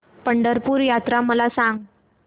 पंढरपूर यात्रा मला सांग